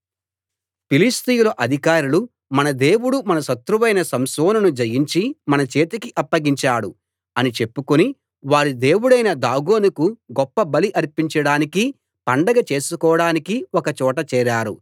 ఫిలిష్తీయుల అధికారులు మన దేవుడు మన శత్రువైన సంసోనును జయించి మన చేతికి అప్పగించాడు అని చెప్పుకుని వారి దేవుడైన దాగోనుకు గొప్ప బలి అర్పించడానికీ పండగ చేసుకోడానికీ ఒక చోట చేరారు